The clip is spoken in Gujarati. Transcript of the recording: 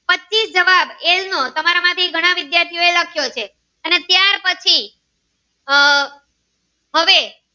જવાબ એલ નો તમારા માંથી ઘણા વિદ્યાર્થી નો એ લખો છે અને ત્યાર પછી આહ હવે